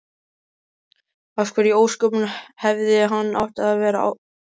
Af hverju í ósköpunum hefði hann átt að vera áfram?